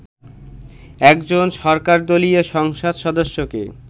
একজন সরকারদলীয় সংসদ সদস্যকে